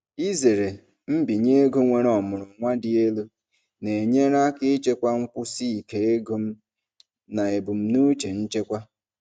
Izere mbinye ego nwere ọmụrụ nwa dị elu na-enyere aka ichekwa nkwụsi ike ego m na ebumnuche nchekwa.